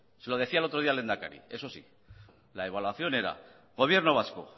se lo decía el otro día al lehendakari la evaluación era gobierno vasco